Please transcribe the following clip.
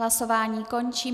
Hlasování končím.